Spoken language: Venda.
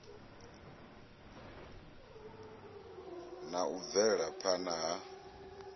na u bvela phana ha